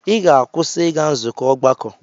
Ị ga-akwụsị ịga nzukọ ọgbakọ!